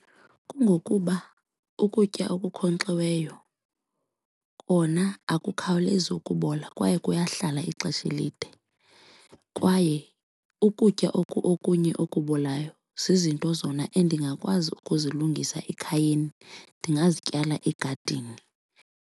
Kungokuba ukutya okunkonkxiweyo kona akukhawulezi ukubola kwaye kuyahlala ixesha elide kwaye ukutya oku okunye okubolayo zizinto zona endingakwazi ukuzilungisa ekhayeni, ndingazityala egadini.